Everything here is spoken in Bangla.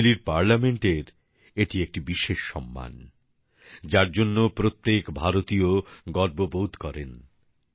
চিলির সংসদের পক্ষ একটা বিশেষ সম্মান যার জন্য প্রত্যেক ভারতীয় গর্ববোধ করেন